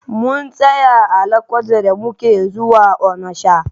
Mun tsaya a Lokoja da muke zuwa Onisha.